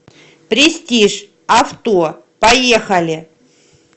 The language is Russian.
престиж авто поехали